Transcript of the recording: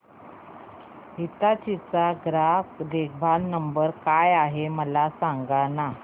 हिताची चा ग्राहक देखभाल नंबर काय आहे मला सांगाना